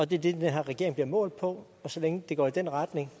det er det den her regering bliver målt på og så længe det går i den retning